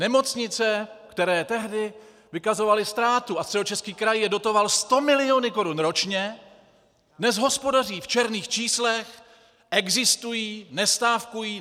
Nemocnice, které tehdy vykazovaly ztrátu a Středočeský kraj je dotoval 100 mil. korun ročně, dnes hospodaří v černých číslech, existují, nestávkují.